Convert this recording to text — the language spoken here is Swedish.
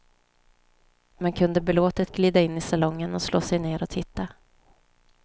Man kunde belåtet glida in i salongen och slå sig ner och titta.